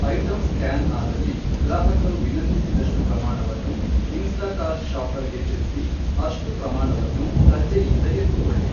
Item scan ಆದಲ್ಲಿ, ಗ್ರಾಹಕರು ವಿನಂತಿಸಿದಷ್ಟು ಪ್ರಮಾಣವನ್ನು ಇನ್ಸ್ಟಾಕಾರ್ಟ್ ಶಾಪರ್ಗೆ ತಿಳಿಸಿ ಅಷ್ಟು ಪ್ರಮಾಣವನ್ನು ಸಜ್ಜೆಯಿಂದ ಎತ್ತುಕೊಳ್ಳಿ.